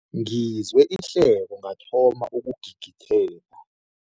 Ngizwe ihleko ngathoma ukugigitheka.